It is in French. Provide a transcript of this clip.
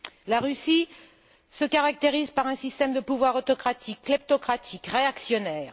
La Russie se caractérise par un système de pouvoir autocratique, kleptocratique et réactionnaire.